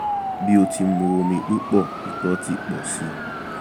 bi o ti mu omi pupọ ìtọ̀ ti pọ̀ síi